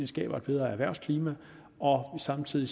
skaber et bedre erhvervsklima og samtidig